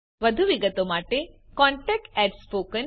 વધુ વિગતો માટે contactspoken tutorialorg પર સંપર્ક કરો